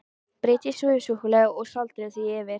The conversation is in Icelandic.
Brytjið suðusúkkulaðið og sáldrið því yfir.